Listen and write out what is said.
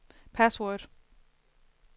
password